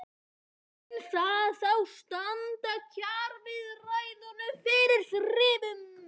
Mun það þá standa kjaraviðræðum fyrir þrifum?